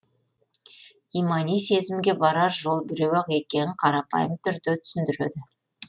имани сенімге барар жол біреу ақ екенін қарапайым түрде түсіндіреді